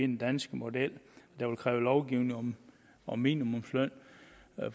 den danske model der vil kræve lovgivning om minimumsløn